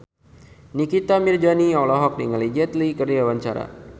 Nikita Mirzani olohok ningali Jet Li keur diwawancara